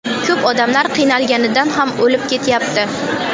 Ko‘p odamlar qiynalganidan ham o‘lib ketyapti.